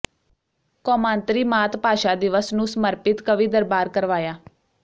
ਕੌਮਾਂਤਰੀ ਮਾਤ ਭਾਸ਼ਾ ਦਿਵਸ ਨੂੰ ਸਮਰਪਿਤ ਕਵੀ ਦਰਬਾਰ ਕਰਵਾਇਆ